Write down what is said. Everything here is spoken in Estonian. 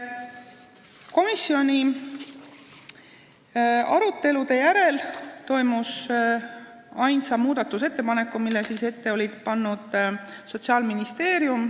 Komisjoni arutelu järel toimus hääletus ainsa muudatusettepaneku üle, mille oli ette pannud Sotsiaalministeerium.